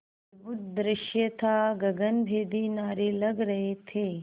अद्भुत दृश्य था गगनभेदी नारे लग रहे थे